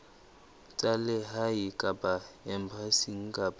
tsa lehae kapa embasing kapa